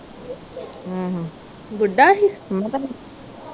ਬੁੱਢਾ ਹੀ?